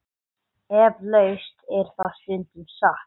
Eflaust er það stundum satt.